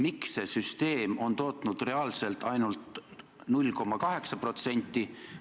Miks see süsteem on tootnud reaalselt ainult 0,8%?